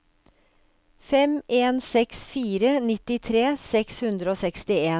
fem en seks fire nittitre seks hundre og sekstien